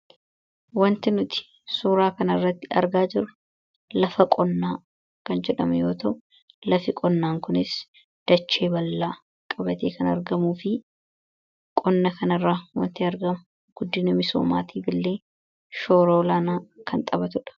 wanti nuti suuraa kan irratti argaa jiru lafa qonnaa kan jedhame yootoo lafi qonnaan kunis dachee ballaa qabatee kan argamuu fi qonna kanirraa wanti argamu guddini misoomaatii billee shooroo laanaa kan xabatudha